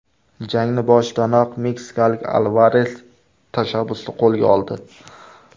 Jangning boshidanoq meksikalik Alvares tashabbusni qo‘lga oldi.